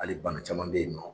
Hali bana caman bɛ yen nɔ.